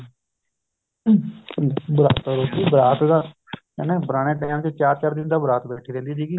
ਬਰਾਤ ਤਾਂ ਕਹਿੰਦੇ ਪੁਰਾਣੇ time ਚ ਚਾਰ ਚਾਰ ਦਿਨ ਤਾਂ ਬਰਾਤ ਬੈਠੀ ਰਹਿੰਦੀ ਸੀਗੀ